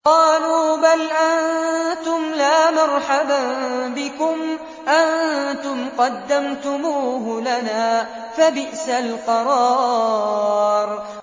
قَالُوا بَلْ أَنتُمْ لَا مَرْحَبًا بِكُمْ ۖ أَنتُمْ قَدَّمْتُمُوهُ لَنَا ۖ فَبِئْسَ الْقَرَارُ